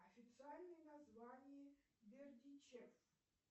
официальное название бердичев